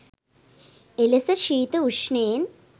එලෙස ශීත, උෂ්ණයෙන්